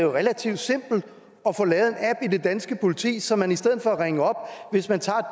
relativt simpelt at få lavet en app i det danske politi så man hvis man tager